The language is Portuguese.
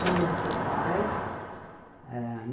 Nome dos seus pais? ãh